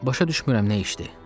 Başa düşmürəm nə işdi?